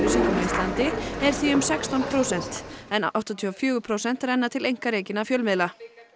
á Íslandi er því um sextán prósent en áttatíu og fjögur prósent renna til einkarekinna fjölmiðla